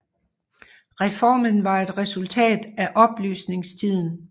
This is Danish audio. Reformen var et resultat af oplysningstiden